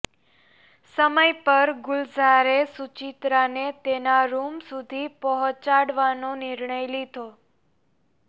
સમય પર ગુલજારે સુચિત્રાને તેના રૂમ સુધી પહોંચાડવાનો નિર્ણય લીધો